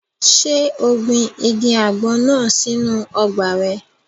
Ṣé o gbin igi àgbọn náà sínu ọgbà rẹ̀?